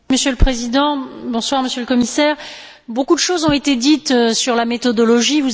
Monsieur le Président, Monsieur le Commissaire, beaucoup de choses ont été dites sur la méthodologie.